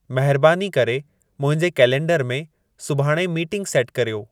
महिरबानी करे मुंहिंजे कैलेंडर में सुभाणे मीटिंगु सेटु कर्यो